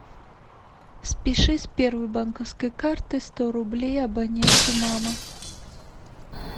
спиши с первой банковской карты сто рублей абоненту мама